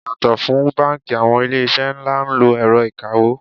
Yàtò fún báńkì, àwọn ilé iṣẹ́ ńlá ń lo ẹ̀rọ ìkawó.